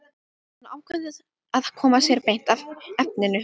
Hann ákveður að koma sér beint að efninu.